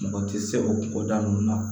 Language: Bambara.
Mɔgɔ tɛ se o koda ninnu na